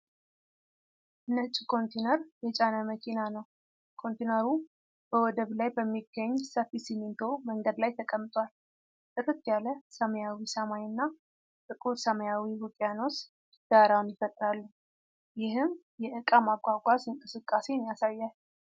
ነጭ ኮንቴይነር የጫነ መኪና ነው። ኮንቴይነሩ በወደብ ላይ በሚገኝ ሰፊ ሲሚንቶ መንገድ ላይ ተቀምጧል። ጥርት ያለ ሰማያዊ ሰማይ እና ጥቁር ሰማያዊ ውቅያኖስ ዳራውን ይፈጥራሉ፣ ይህም የዕቃ ማጓጓዝ እንቅስቃሴን ያሳያል።